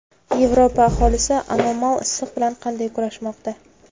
Yevropa aholisi anomal issiq bilan qanday kurashmoqda?